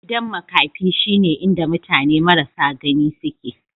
Gidan maƙafi shine inda mutane marasa gani suke.